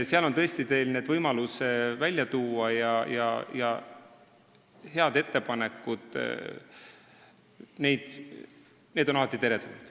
Seal on teil tõesti võimalus tuua välja oma head ettepanekud, mis on alati teretulnud.